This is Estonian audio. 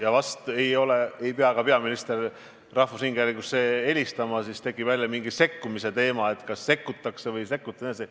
Aga peaminister vist ise ei peaks rahvusringhäälingusse helistama, sest siis tekiks jälle mingi sekkumise teema, et kas sekkutakse või ei sekkuta jne.